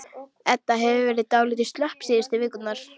Edda hefur verið dálítið slöpp síðustu vikurnar.